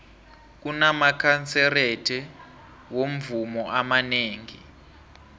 kunamakanserete womvumo amanengi